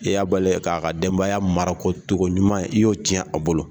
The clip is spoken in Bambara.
I y'a bali k'a ka denbaya marako togo ɲuman ye, i y'o cɛn a bolo